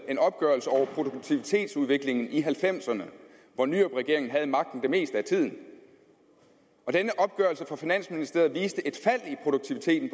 en opgørelse over produktivitetsudviklingen i nitten halvfemserne hvor nyrupregeringen havde magten det meste af tiden og denne opgørelse fra finansministeriet viste et fald i produktiviteten